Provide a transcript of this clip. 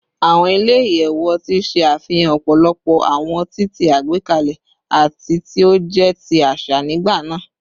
Awọn ile-iyẹwu ọti ṣe afihan ọpọlọpọ awọn ọti ti agbegbe ati ti o jẹ ti aṣa nigbana